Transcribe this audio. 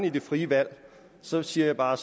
er det frie valg så siger jeg bare